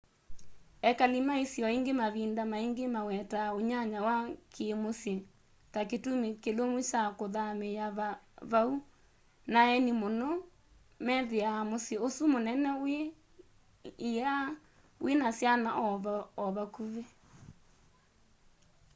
ekali ma isio ingi mavinda maingi mawetaa unyanya wa kiimusyi ta kitumi kilumu kya kuthamiia vau na aeni muno muno methia musyi usu munene wi laa wina syana o vakuvi